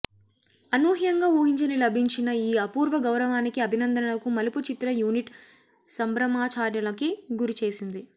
అనూహ్యంగా ఊహించని లభించిన ఈ అపూర్వ గౌరవానికి అభినందనలకు మలుపు చిత్ర యూనిట్ సంబ్రమాచార్యలకి గురిచేసింది